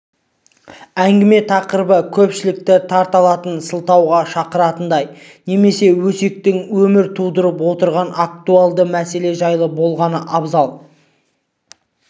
әңгіме тақырыбы көпшілікті тарта алатын сырласуға шақыратындай немесе өскелең өмір тудырып отырған актуальды мәселе жайлы болғаны абзал